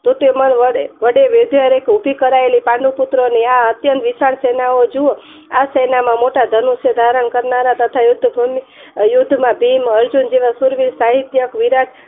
ધ્રુમય વડે વહેવારીક વિધિ કરાવેલી પાંડવ પુત્ર ની આ અત્યંત વિશાળ સેના જુવો આ સેનામાં મોટા ધનુસ ધારણ કરનાર તથા યુદ્ધ માં અર્જુન ભીમ જેવા શુરવીર સાહિત્ય વિરાટ